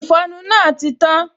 Ìfọnu náà ti tán